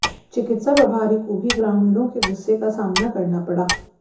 चिकित्सा प्रभारी को भी ग्रामीणों के गुस्से का सामना करना पड़ा